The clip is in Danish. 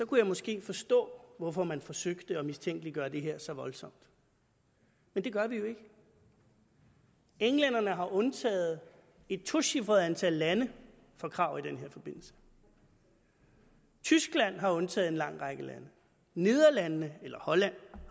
kunne jeg måske forstå hvorfor man forsøger at mistænkeliggøre det her så voldsomt men det gør vi jo ikke englænderne har undtaget et tocifret antal lande fra krav i den her forbindelse tyskland har undtaget en lang række lande lande holland